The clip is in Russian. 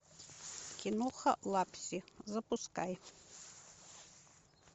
киноха лапси запускай